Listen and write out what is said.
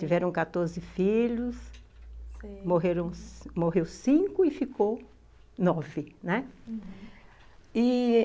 Tiveram quatorze filhos, morreram cinco e ficaram nove, né, uhum... e...